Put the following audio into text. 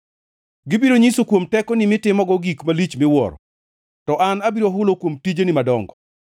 Gibiro nyiso kuom tekoni mitimogo gik malich miwuoro, to an abiro hulo kuom tijeni madongo.